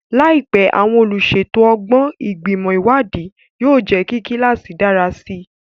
Láìpẹ́, àwọn olùṣètò ọlọ́gbọ́n, Ìgbìmọ̀ Ìwádìí, yóò jẹ́ kí kíláàsì dára sí i.